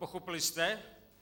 Pochopili jste?